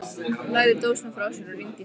Lagði dósina frá sér og rýndi í spegilinn.